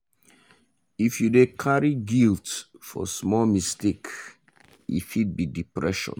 if you dey carry guilt for small mistake e fit be depression.